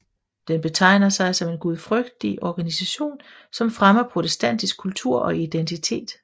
Den betegner sig som en gudfrygtig organisation som fremmer protestantisk kultur og identitet